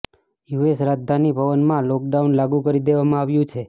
US રાજધાની ભવનમાં lockdown લાગુ કરી દેવામાં આવ્યું છે